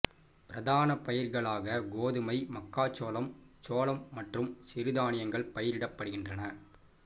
பிரதான பயிர்களாக கோதுமை மக்காச்சோளம் சோளம் மற்றும் சிறுதானியங்கள் பயிரிடப்படுகின்றன